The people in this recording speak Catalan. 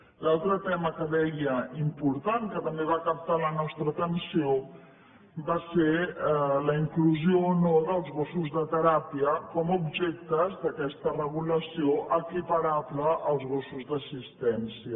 l’altre tema que deia important que també va captar la nostra atenció va ser la inclusió o no dels gossos de teràpia com a objectes d’aquesta regulació equiparables als gossos d’assistència